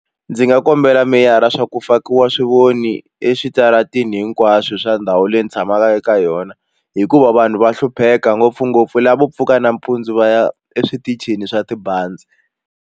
Ndzi nga kombela meyara swa ku fakiwa swivoni eswitarateni hinkwaswo swa ndhawu leyi ndzi tshamaka eka yona hikuva vanhu va hlupheka ngopfungopfu lavo pfuka nampundzu va ya eswitichini swa tibazi.